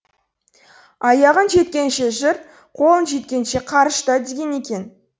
аяғың жеткенше жүр қолың жеткенше қарышта деген екен